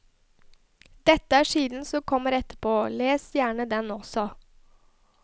Dette er siden som kommer etterpå, les gjerne den også.